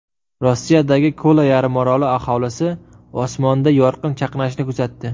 Rossiyadagi Kola yarimoroli aholisi osmonda yorqin chaqnashni kuzatdi .